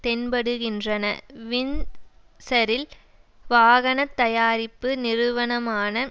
தென்படுகின்றன வின்ட்சரில் வாகன தயாரிப்பு நிறுவனமான